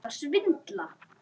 Ég bara þurfti þess.